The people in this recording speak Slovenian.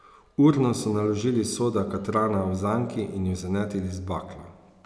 Urno so naložili soda katrana v zanki in ju zanetili z baklo.